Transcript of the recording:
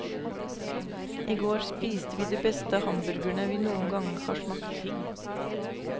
I går spiste vi de beste hamburgerne vi noen gang har smakt.